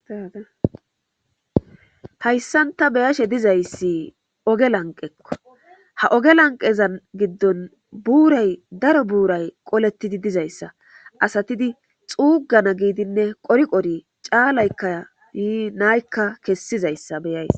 hayssan ta be'ashe dizayssi oge lanqekko ha oge lanqezan giddon buuray daro buuray qolettidi dizayssa asatidi xuugana giidinne qori qori caalaykka yii naykka kessizayssa beyays